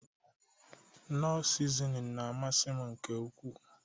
Knọ sizinin na-amasị m nke ukwu.